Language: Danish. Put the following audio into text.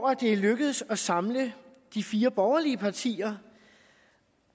at det er lykkedes at samle de fire borgerlige partier